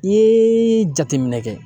I ye jateminɛ kɛ.